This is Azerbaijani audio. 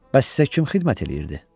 Bəs sizə kim xidmət eləyirdi?